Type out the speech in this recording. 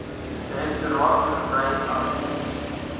direktoraat verbrei aktief